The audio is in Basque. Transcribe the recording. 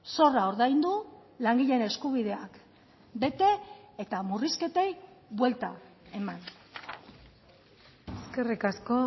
zorra ordaindu langileen eskubideak bete eta murrizketei buelta eman eskerrik asko